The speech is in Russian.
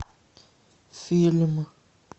фильм